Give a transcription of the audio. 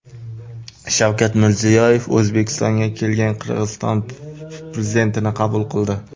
Shavkat Mirziyoyev O‘zbekistonga kelgan Qirg‘iziston prezidentini qabul qildi.